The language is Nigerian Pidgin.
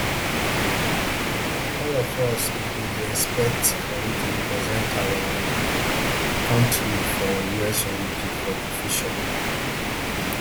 all of us um bin dey expect cory to represent our um kontri for us olympics for di future